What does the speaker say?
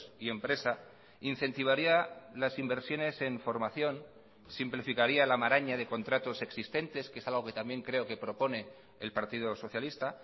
y empresa incentivaría las inversiones en formación simplificaría la maraña de contratos existentes que es algo que también creo que propone el partido socialista